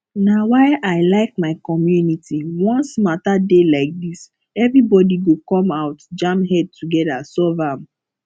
na why i like my community once matter dey like dis everybody go come out jam head together solve am